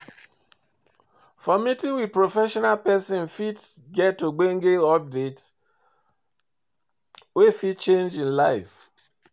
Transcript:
For meeting with professional persin fit get ogbonge update wey fit change im life